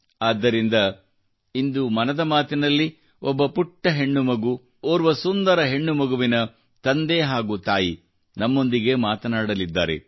ಆದ್ದರಿಂದ ಇಂದು ಮನದ ಮಾತಿನಲ್ಲಿ ಒಬ್ಬ ಪುಟ್ಟ ಹೆಣ್ಣುಮಗು ಮತ್ತು ಓರ್ವ ಸುಂದರ ಹೆಣ್ಣುಮಗುವಿನ ತಂದೆ ಹಾಗೂ ತಾಯಿ ನಮ್ಮೊಂದಿಗೆ ಮಾತನಾಡಲಿದ್ದಾರೆ